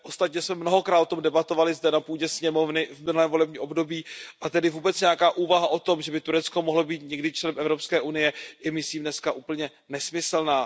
Ostatně jsme mnohokrát o tom debatovali zde na půdě sněmovny v minulém volebním období a tedy vůbec nějaká úvaha o tom, že by Turecko mohlo být někdy člen Evropské unie, je myslím dneska úplně nesmyslná.